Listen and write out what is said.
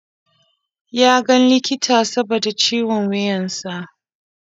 Ya ga likita saboda ciwon wuyan sa.